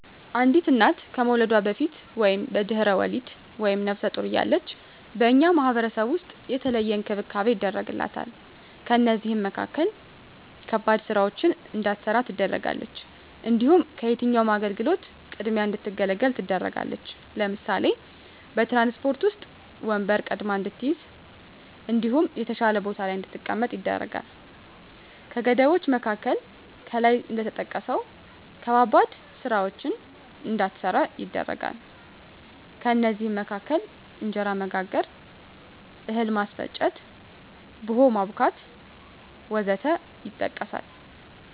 አንዲት እና ከመዉለዷ በፊት(በድሕረ ወሊድ)ወይም ነብሰ ጡር እያለች በእኛ ማህበረሰብ ዉስጥ የተለየ እንክብካቤ ይደረግላታል ከእነዚህም መካከል ከባድ ስራወችን እንዳትሰራ ትደረጋለች። እንዲሁም ከየትኛዉም አገልግሎት ቅድሚያ እንድትገለገል ትደረጋለች ለምሳሌ፦ በትራንስፖርት ዉስጥ ወንበር ቀድማ እንድትይዝ እንዲሁም የተሻለ ቦታ ላይ እንድትቀመጥ ይደረጋል። ከገደቦች መካከል ከላይ እንደተጠቀሰዉ ከባባድ ስራወችን እንዳትሰራ ይደረጋል ከእነዚህም መካከል እንጀራ መጋገር፣ እህል ማስፈጨት፣ ቡሆ ማቡካት ወዘተ ይጠቀሳል